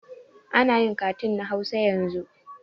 Anayin katun na hausa yanzu